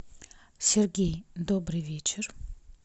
сергей добрый вечер